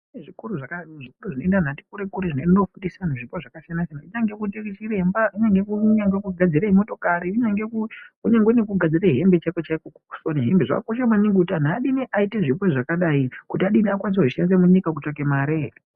Kune zvikoro zvinoenda anhu atikure kure zvinoende kofundisa anhu zvipo zvakasiyana siyana kunge koitei chiremba, kunyange kugadzire motokari, kunyange nekugadzire hembe chaiko chaiko kusona hembe zvakakosha maningi kuti anhu adini aite zvipo zvakadai kuti adini akwanise kuzvishandisa munyika kutsvake mare.